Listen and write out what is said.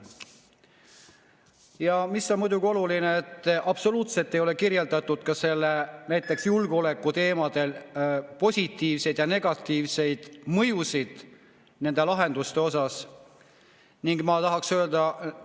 Ja mis on muidugi oluline: absoluutselt ei ole kirjeldatud julgeoleku positiivseid ja negatiivseid mõjusid nende lahenduste.